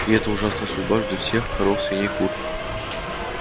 и эта ужасная судьба ждёт всех коров свиней кур